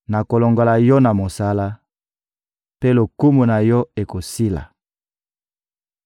Nakolongola yo na mosala, mpe lokumu na yo ekosila.